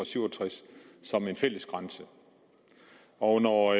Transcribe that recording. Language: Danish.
syv og tres som en fælles grænse og når